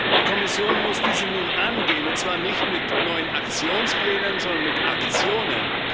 Die Kommission muss diese nun angehen, und zwar nicht mit neuen Aktionsplänen, sondern mit Aktionen.